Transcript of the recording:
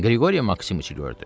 Qriqori Maksimiçi gördü.